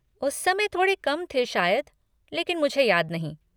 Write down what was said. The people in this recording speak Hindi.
उस समय थोड़े कम थे शायद, लेकिन मुझे याद नहीं।